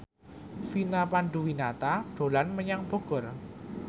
Vina Panduwinata dolan menyang Bogor